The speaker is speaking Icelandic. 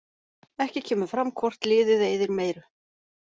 Ekki kemur fram hvort liðið eyðir meiru.